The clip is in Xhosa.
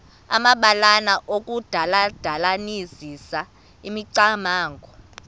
amabalana okudandalazisa imicamango